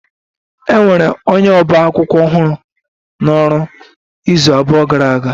E nwere onye ọba akwụkwọ ọhụrụ n'ọrụ izu abụọ gara aga